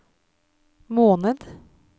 måned